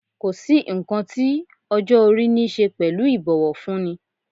Kò sí nǹkan tí ọjọ́ - orí niṣe pẹ̀lú ibowofunni.